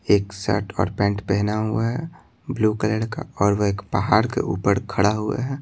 एक शर्ट और पैंट पहना हुआ है ब्लू कलर का और वह एक पहाड़ के ऊपर खड़ा हुआ है।